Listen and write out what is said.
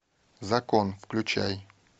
закон включай